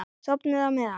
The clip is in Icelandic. Sofnið á meðan.